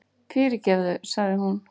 Fyrirgefðu, sagði hún.